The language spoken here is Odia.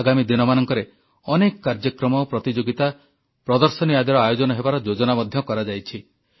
ଆଗାମୀ ଦିନମାନଙ୍କରେ ଅନେକ କାର୍ଯ୍ୟକ୍ରମ ପ୍ରତିଯୋଗିତା ପ୍ରଦର୍ଶନୀ ଆଦିର ଆୟୋଜନ ହେବାର ଯୋଜନା ମଧ୍ୟ କରାଯାଇଛି